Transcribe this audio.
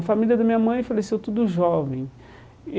A família da minha mãe faleceu tudo jovem e.